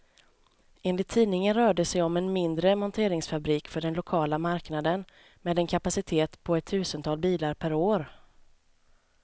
Enligt tidningen rör det sig om en mindre monteringsfabrik för den lokala marknaden, med en kapacitet på ett tusental bilar per år.